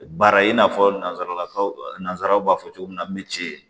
Baara in n'a fɔ nanzarakanw nanzaraw b'a fɔ cogo min na me ci